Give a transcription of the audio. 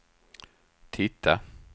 titta